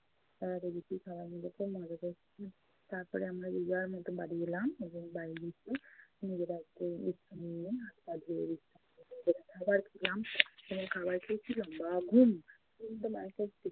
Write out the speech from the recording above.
তারপরে আমরা যে যার মতো বাড়ি এলাম। এবং বাড়ি এসে নিজেরা একটু বিশ্রাম নিয়ে হাত পা ধুয়ে খাবার খেলাম এবং খাবার খেয়েছি লম্বা ঘুম